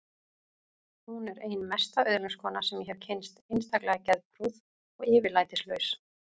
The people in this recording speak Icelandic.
Hún er ein mesta öðlingskona sem ég hef kynnst, einstaklega geðprúð og yfirlætislaus.